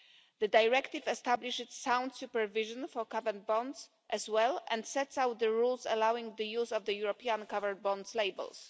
The directive establishes sound supervision for covered bonds as well, and sets out the rules allowing the use of the European Covered Bonds' labels.